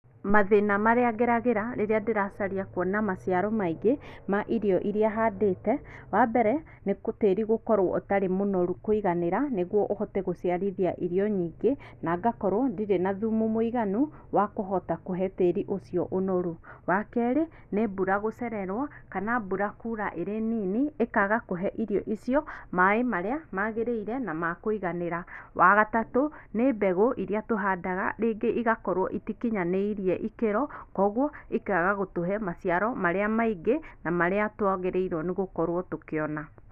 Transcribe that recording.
Mathĩna marĩa ngeragĩra rĩrĩa ndĩracaria kuona maciaro maingĩ ma irio iria handĩte, wambere, nĩ tĩri gũkorwo ũtarĩ mũnoru kũiganĩra, nĩguo ũhote gũciarithia irio nyingĩ, na ngakorwo ndirĩ na thumu mũiganu wa kũhota kũhe tĩri ũcio ũnoru. Wa kerĩ, nĩ mbura gũcererwo, kana mbura kura ĩrĩ nini, ĩkaga kũhe irio icio maaĩ marĩa magĩrĩire na makũiganĩra. Wa gatatũ, nĩ mbegũ iria tũhandaga, rĩngĩ igakorwo itikinyanĩirie ikĩro, koguo ikaga gũtũhe maciaro marĩa maingĩ, na marĩa twagĩrĩirwo gũkorwo tũkĩona.